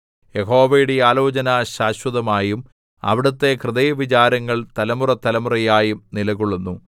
യഹോവയുടെ ആലോചന ശാശ്വതമായും അവിടുത്തെ ഹൃദയവിചാരങ്ങൾ തലമുറതലമുറയായും നിലകൊള്ളുന്നു